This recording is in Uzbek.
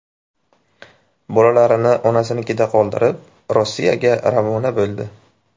Bolalarini onasinikida qoldirib, Rossiyaga ravona bo‘ldi.